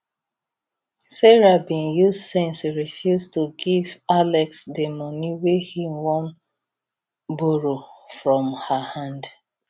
sarah bin use sense refuse to give alex di money wey he wan borrow from her hand